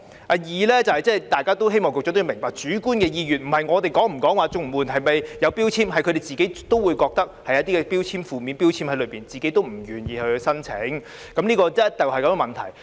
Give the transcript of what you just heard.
第二，希望局長也明白，他們的主觀意願並非源於我們是否對綜援有標籤，而是他們也認為綜援有負面的標籤，故此不願意申請，這是箇中的問題。